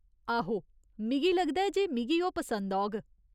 आहो, मिगी लगदा ऐ जे मिगी ओह् पसंद औग।